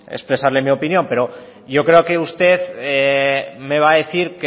expresarle mi opinión pero yo creo que usted me va a decir